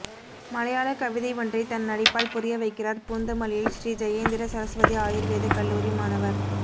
மலையாள கவிதை ஒன்றை தன் நடிப்பால் புரிய வைக்கிறார் பூந்தமல்லியில் ஷ்ரீ ஜெயேந்திர சரஸ்வதி ஆயூர்வேத கல்லூரி மாணவர்